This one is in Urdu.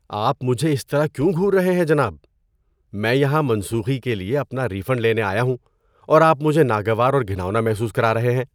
آپ مجھے اس طرح کیوں گھور رہے ہیں جناب؟ میں یہاں منسوخی کے لیے اپنا ری فنڈ لینے آیا ہوں اور آپ مجھے ناگوار اور گھناؤنا محسوس کرا رہے ہیں۔